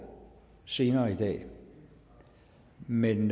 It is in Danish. senere i dag men